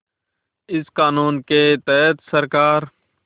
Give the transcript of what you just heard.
इस क़ानून के तहत सरकार